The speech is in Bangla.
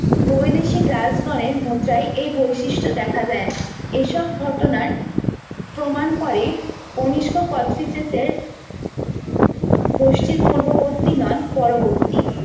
বৈদেশিক রাজগণের মুদ্রাই এই বৈশিষ্ট দেখা যায় না এসব ঘটনাএ প্রমাণ করে কনিস্ক কোচটিসেসের গোষ্ঠীর পূর্ববর্তী নন পরবর্তী